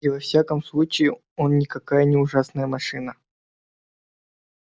и во всяком случае он никакая не ужасная машина